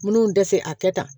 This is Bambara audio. Minnu tɛ se a kɛ ta